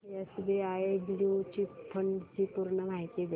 SBI blue chip fund ची पूर्ण माहिती दे